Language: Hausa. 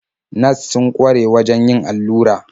Nas sun kware wajen yin allura.